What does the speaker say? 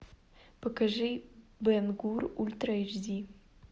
покажи бен гур ультра эйч ди